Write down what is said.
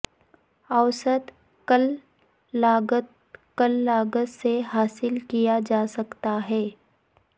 اوسط کل لاگت کل لاگت سے حاصل کیا جاسکتا ہے